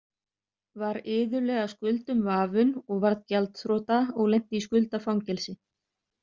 Var iðullega skuldum vafinn og varð gjaldþrota og lenti í skuldafangelsi.